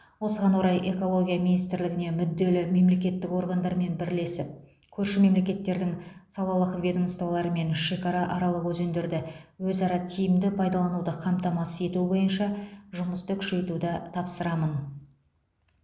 осыған орай экология министрлігіне мүдделі мемлекеттік органдармен бірлесіп көрші мемлекеттердің салалық ведомстволарымен шекарааралық өзендерді өзара тиімді пайдалануды қамтамасыз ету бойынша жұмысты күшейтуді тапсырамын